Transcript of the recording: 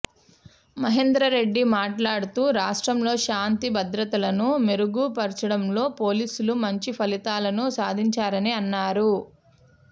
మహేందర్రెడ్డి మాట్లాడుతూ రాష్ట్రంలో శాంతి భద్రతలను మెరుగు పరచడంలో పోలీసులు మంచి ఫలితాలను సాధించారని అన్నారు